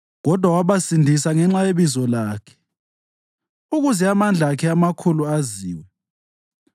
Kodwa wabasindisa ngenxa yebizo lakhe, ukuze amandla akhe amakhulu aziwe.